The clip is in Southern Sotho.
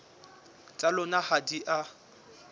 tsa lona ha di a